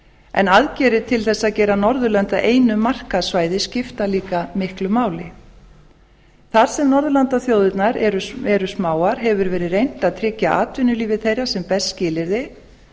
en aðgerðir til þess að gera norðurlönd að einu markaðssvæði skipta líka miklu máli þar sem norðurlandaþjóðirnar eru smáar hefur verið reynt að tryggja atvinnulífi þeirra sem best skilyrði